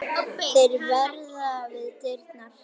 Þeir verða við dyrnar.